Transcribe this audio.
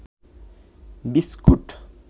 biscuit